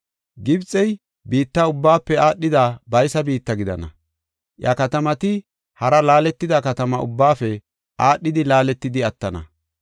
Gibxey biitta ubbaafe aadhida baysa biitta gidana; iya katamati hara laaletida katama ubbaafe aadhidi laaletidi attana.